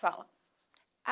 Fala.